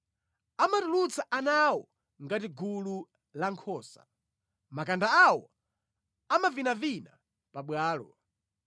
Amatulutsa ana awo ngati gulu la nkhosa; makanda awo amavinavina pabwalo.